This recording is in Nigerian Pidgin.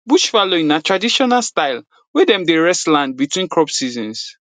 bush fallowing na traditional style wey dem dey rest land between crop seasons